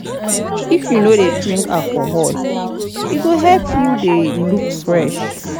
If you no dey drink alcohol, e go help make you dey look fresh